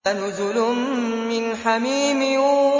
فَنُزُلٌ مِّنْ حَمِيمٍ